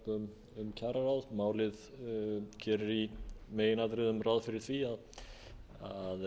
stjórnarfrumvarp um kjararáð málið gerir í meginatriðum ráð fyrir því að